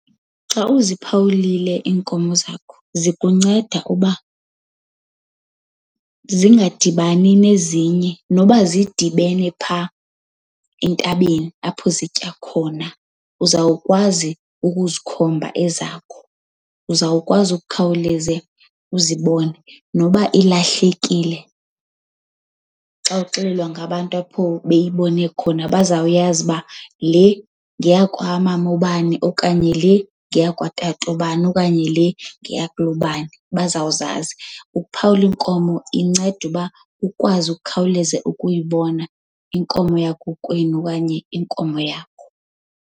Xa uziphawulile iinkomo zakho zikunceda uba zingadibani nezinye. Noba zidibene phaa entabeni apho zitya khona, uzawukwazi ukuzikhomba ezakho, uzawukwazi ukukhawuleze uzibone. Noba ilahlekile, xa uxelelwa ngabantu apho beyibone khona bazawuyazi uba le ngeyakwaMama ubani okanye le ngeyakwaTata ubani okanye le ngayakulobani, bazawuzazi. Ukuphawula iinkomo inceda uba ukwazi ukukhawuleze ukuyibona inkomo yakokwenu okanye inkomo yakho.